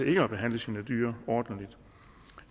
ikke at behandle sine dyr ordentligt